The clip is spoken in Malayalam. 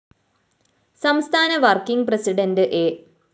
സംസ്ഥാന വര്‍ക്കിംഗ് പ്രസിഡന്റ് എ